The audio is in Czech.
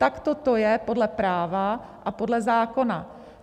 Takto to je podle práva a podle zákona.